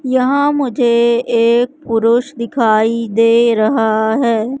यहां मुझे एक पुरुष दिखाई दे रहा है।